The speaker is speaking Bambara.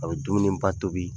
A bɛ dumuni ba tobi,